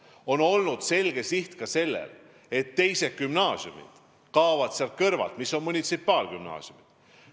On olnud selge siht, et teised gümnaasiumid, mis on munitsipaalgümnaasiumid, kaovad sealt kõrvalt.